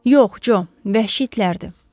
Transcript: Yox, Co, vəhşi itlərdir.